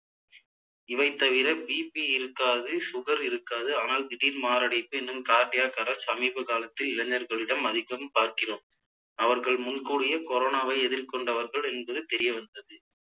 இவை தவிர BP இருக்காது sugar இருக்காது ஆனால் திடீர் மாரடைப்பு என்னும் cardiac arrest சமீப காலத்தில் இளைஞர்களிடம் அதிகம் பார்க்கிறோம் அவர்கள் முன்கூடியே கொரோனாவை எதிர்கொண்டவர்கள் என்பது தெரிய வந்தது